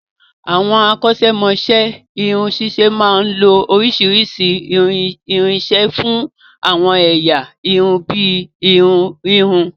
Àwọn akọ́ ṣẹ́mọ'ṣẹ́ irun ṣíṣe máa ń lo oríṣiríṣi irinṣẹ́ fún àwọn ẹ̀yà irun bíi irun híhun